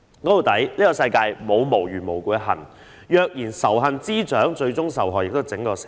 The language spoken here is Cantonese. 說到底，世界上沒有無緣無故的恨，若任由仇恨滋長，最終受害的是整體社會。